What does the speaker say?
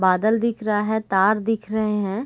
बादल दिख रहा है तार दिख रहे हैं।